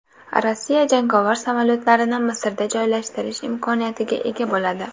Rossiya jangovar samolyotlarini Misrda joylashtirish imkoniyatiga ega bo‘ladi.